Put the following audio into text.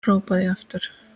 hrópaði ég aftur.